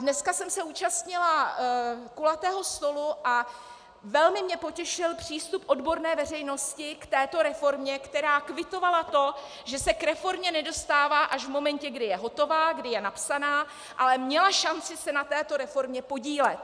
Dneska jsem se zúčastnila kulatého stolu a velmi mě potěšil přístup odborné veřejnosti k této reformě, která kvitovala to, že se k reformě nedostává až v momentě, kdy je hotová, kdy je napsaná, ale měla šanci se na této reformě podílet.